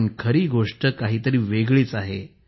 पण खरी गोष्ट काहीतरी वेगळीच आहे